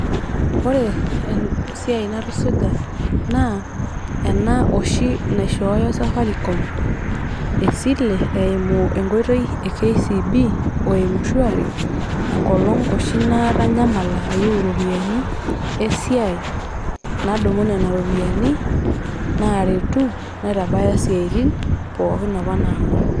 Ore esiai natusuja naa ena oshi naishooyo safaricom esile eimu enkoitoi e kcb oe mshwari enkolong oshi natanyamala ayieu iropiyiani esiai nadumu nena ropiyiani naretu naitabaya siatin pookin apa nangor